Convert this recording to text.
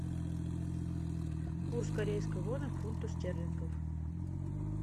курс корейской воны к фунту стерлингов